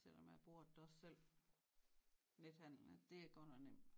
Selvom jeg bruger det da også selv nethandel og det er godt nok nemt